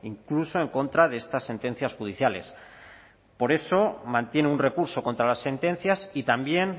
incluso en contra de estas sentencias judiciales por eso mantiene un recurso contra las sentencias y también